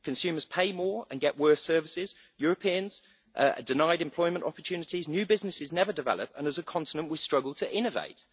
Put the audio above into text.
Consumers pay more and get worse services, Europeans are denied employment opportunities, new businesses never develop, and as a continent we struggle to innovate.